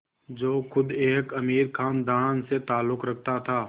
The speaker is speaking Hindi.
जो ख़ुद एक अमीर ख़ानदान से ताल्लुक़ रखता था